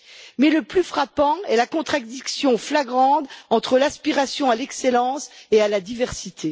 Mais le plus frappant est la contradiction flagrante entre l'aspiration à l'excellence et à la diversité.